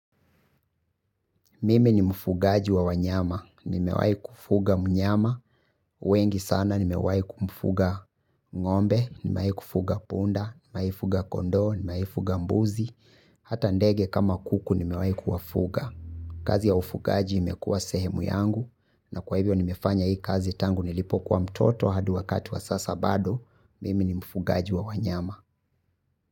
Mimi ni mfugaji wa wanyama, nimewai kufuga mnyama, wengi sana nimewai kumfuga ngombe, nimewai kufuga punda, nimewai kufuga kondo, nimewai kufuga mbuzi, hata ndege kama kuku nimewai kuwafuga. Kazi ya ufugaji imekua sehemu yangu, na kwa hivyo nimefanya hii kazi tangu nilipo kuwa mtoto hadi wakati wa sasa bado, mimi ni mfugaji wa wanyama.